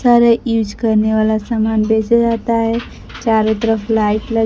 सारे यूज करने वाला सामान बेचा जा जाता है चारों तरफ लाइट ल--